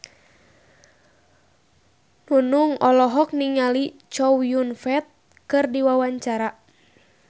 Nunung olohok ningali Chow Yun Fat keur diwawancara